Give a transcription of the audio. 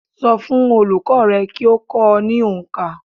So fún olùkó rẹ kí o kó o ní onkà